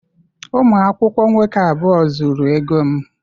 Ụmụ akwụkwọ nwoke abụọ zuru ego m.